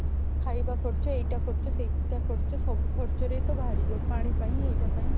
ଖାଇବା ଖର୍ଚ୍ଚ ଏଇଟା ଖର୍ଚ୍ଚ ସେଇଟା ଖର୍ଚ୍ଚ ସବୁ ଖର୍ଚ୍ଚରେ ତ ବାହାରିଯିବ ପାଣି ପାଇଁ ଏଇଟା ପାଇଁ